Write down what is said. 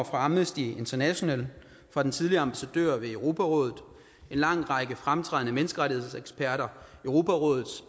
fra amnesty international fra den tidligere ambassadør ved europarådet en lang række fremtrædende menneskerettighedseksperter europarådets